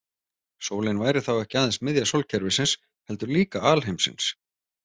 Sólin væri þá ekki aðeins miðja sólkerfisins heldur líka alheimsins.